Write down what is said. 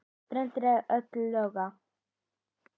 brenn öll loga